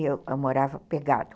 Eu morava pegado.